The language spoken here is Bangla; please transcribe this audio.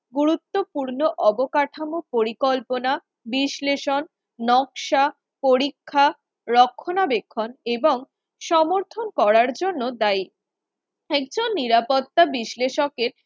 গুরুত্বপূর্ণ অবকাঠামো পরিকল্পনা বিশ্লেষণ নকশা পরীক্ষা রক্ষণাবেক্ষণ এবং সমর্থন করার জন্য দায়ী, একজন নিরাপত্তা বিশ্লেষকের